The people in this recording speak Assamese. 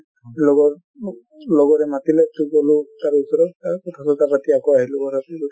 লগৰ অ লগৰে মতিলে গ'লো তাৰ ওছৰত কথা চথা পাতি আহিলো আকৌ ঘৰত